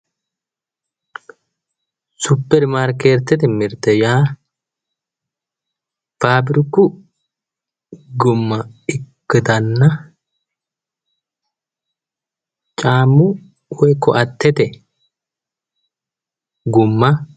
Supermarketete mirte yaa fabiriku gumma ikkitanna caammu woyi koattete gumma.